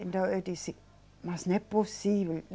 Então eu disse, mas não é possível.